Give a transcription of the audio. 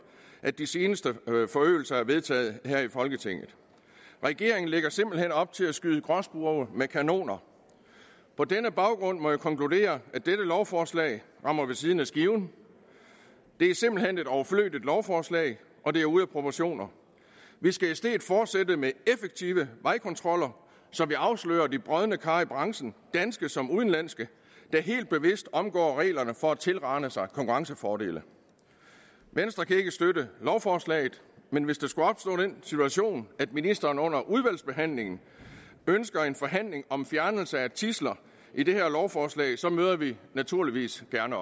at de seneste forøgelser blev vedtaget her i folketinget regeringen lægger simpelt hen op til at skyde gråspurve med kanoner på denne baggrund må jeg konkludere at dette lovforslag rammer ved siden af skiven det er simpelt hen et overflødigt lovforslag og det er ude af proportioner vi skal i stedet fortsætte med effektive vejkontroller så vi afslører de brodne kar i branchen danske som udenlandske der helt bevidst omgår reglerne for at tilrane sig konkurrencefordele venstre kan ikke støtte lovforslaget men hvis den situation skulle at ministeren under udvalgsbehandlingen ønsker en forhandling om fjernelse af tidsler i det her lovforslag så møder vi naturligvis gerne